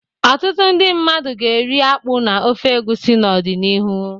Ọtụtụ ndị mmadụ ga-eri akpu na ofe egusi n'ọdịnihu